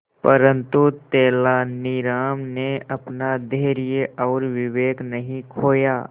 परंतु तेलानी राम ने अपना धैर्य और विवेक नहीं खोया